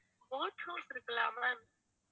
boat house இருக்குல்ல ma'am